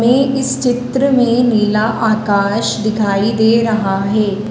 इस चित्र में नीला आकाश दिखाई दे रहा है।